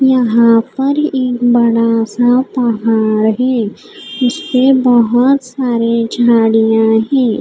यहाँ पर एक बड़ा सा पहाड़ है उसपे बहुत सारे झाड़ियाँ हैं।